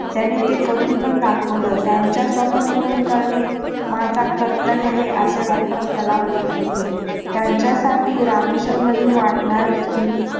त्यांनी ते करून पण दाखवलं त्याचं स्वप्न पूर्ण करणे माझं कर्तव्य आहे असे doctor कलाम म्हणत होते त्यांच्यासाठी रामेश्वरमधील वाटणार